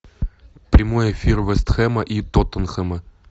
прямой эфир вест хэма и тоттенхэма